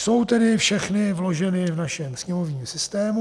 Jsou tedy všechny vloženy v našem sněmovním systému.